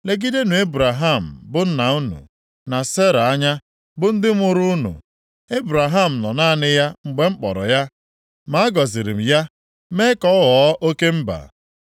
Legidenụ Ebraham bụ nna unu na Sera anya, bụ ndị mụrụ unu. Ebraham nọ naanị ya mgbe m kpọrọ ya, ma a gọziri m ya, mee ka ọ ghọọ oke mba.